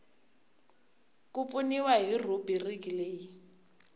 ku pfuniwa hi rhubiriki leyi